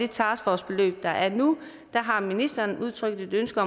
taskforcebeløb der er nu der har ministeren udtrykt et ønske